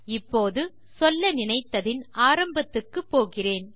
இப்போது சொல்ல நினைத்ததின் ஆரம்பத்துக்கு போகிறேன்